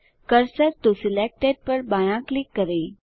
cursor to selected पर बायाँ click करें